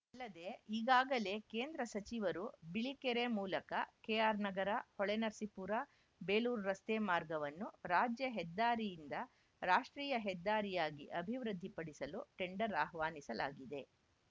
ಅಲ್ಲದೇ ಈಗಾಗಲೇ ಕೇಂದ್ರ ಸಚಿವರು ಬಿಳಿಕೆರೆ ಮೂಲಕ ಕೆಆರ್‌ನಗರ ಹೊಳೆನರಸೀಪುರ ಬೇಲೂರು ರಸ್ತೆ ಮಾರ್ಗವನ್ನು ರಾಜ್ಯ ಹೆದ್ದಾರಿಯಿಂದ ರಾಷ್ಟ್ರೀಯ ಹೆದ್ದಾರಿಯಾಗಿ ಅಭಿವೃದ್ಧಿಪಡಿಸಲು ಟೆಂಡರ್‌ ಅಹ್ವಾನಿಸಲಾಗಿದೆ